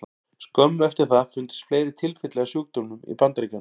Skömmu eftir það fundust fleiri tilfelli af sjúkdómnum í Bandaríkjunum.